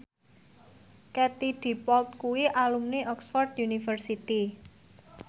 Katie Dippold kuwi alumni Oxford university